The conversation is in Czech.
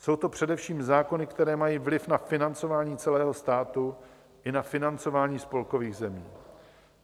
Jsou to především zákony, které mají vliv na financování celého státu i na financování spolkových zemí.